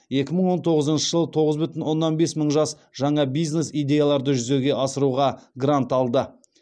екі мың он тоғызыншы жылы тоғыз бүтін оннан бес мың жас жаңа бизнес идеяларды жүзеге асыруға грант алды